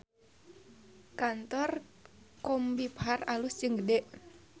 Kantor Combiphar alus jeung gede